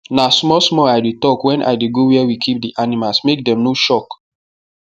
na small small i dey tok wen i dey go where we keep the animals make dem no shock